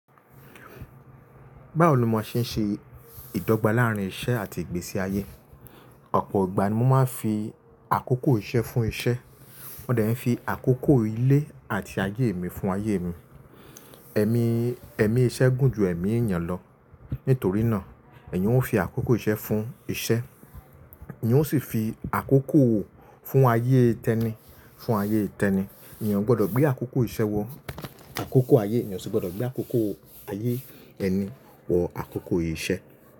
Báwo lo mà ṣe ń ṣe ìdọ́gba láàrín iṣẹ́ àti ìgbésí ayé. Ọ̀pọ̀ ìgbà ni mo máa ń fi àkókò iṣẹ́ fún iṣẹ́, mo dẹ̀ ń fi àkókò ilé àti ayé mi fún ayé mi. Ẹ̀mí, ẹ̀mí iṣẹ́ gùn ju ẹ̀mí ènìyàn lọ, nítorí náà èèyàn ó fi àkókò iṣẹ́ fún iṣẹ́, èèyàn ó sì fi àkókò fún ayé tẹni fún ayé tẹni. Èèyàn gbọ́dọ̀ gbé àkókò iṣẹ́ wọ àkókò ayé, èèyàn sì gbọ́dọ̀ gbé àkókò ayé ẹni wọ àkókò iṣẹ́.